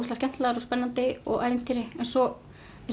skemmtilegar og spennandi og ævintýri en svo